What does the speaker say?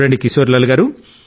కిశోరీలాల్ గారూ